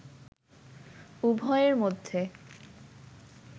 উভয়ের মধ্যে